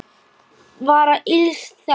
vara ills þegns